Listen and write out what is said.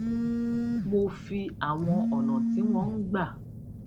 mo fi àwọn ònà tí wón ń gbà